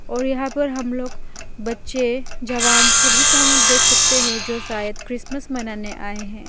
और यहा पर हम लोग बच्चे जवान सभी को हम लोग देख सकते हैं जो शायद क्रिसमस मनाने आए हैं।